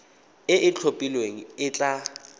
e e itlhophileng e tla